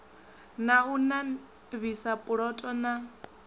na u navhisa puloto na